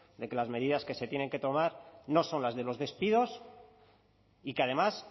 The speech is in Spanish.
de que las medidas que se tienen que tomar no son las de los despidos y que además